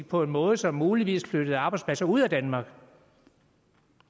på en måde som muligvis flytter arbejdspladser ud af danmark